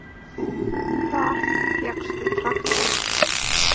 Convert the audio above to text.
Hvar fékkstu traktorinn?